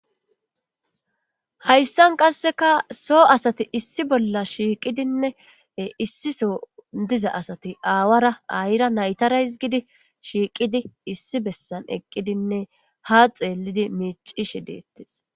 hayssan qasseka so asati issi bolla shiiqidinne issiso diza asati aawara ayra naytara hizgidi shiiqidi issi bessan eqqidinne ha xeellidi miicishe deettes